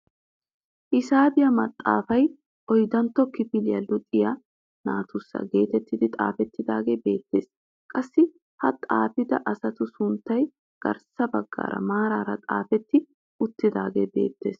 Hisaabiyaa maxaafay oyddantto kifiliyaa luxiyaa naatussi getettidi xaafettidagee beettees. qassi ha xaafida asatu sunttay garssa baggaara maarara xaafetti uttagee beettees.